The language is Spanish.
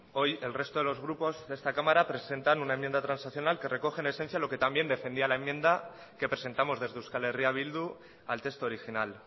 hoy el resto de los grupos de esta cámara presentan una enmienda transaccional que recoge en esencia lo que también defendía la enmienda que presentamos desde euskal herria bildu al texto original